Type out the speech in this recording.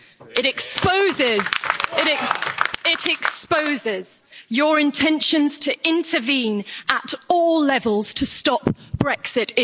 It exposes your intentions to intervene at all levels to stop Brexit.